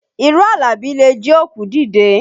Irọ́ Àlàbí le jí òkú dìde